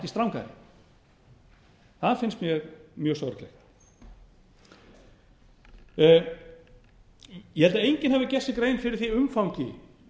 strangari það finnst mér mjög sorglegt ég held að enginn hafi gert sér gefinn fyrir því umfangi